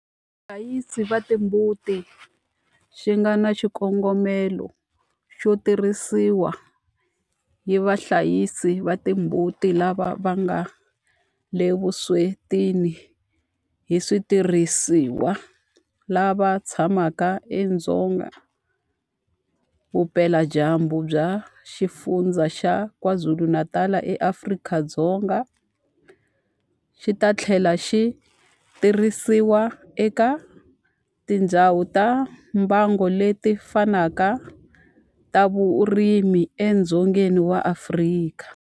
Vahlayisi va timbuti xi nga na xikongomelo xo tirhisiwa hi vahlayisi va timbuti lava nga le vuswetini hi switirhisiwa lava tshamaka edzonga vupeladyambu bya Xifundzha xa KwaZulu-Natal eAfrika-Dzonga, xi ta tlhela xi tirhisiwa eka tindhawu ta mbango leti fanaka ta vurimi edzongeni wa Afrika.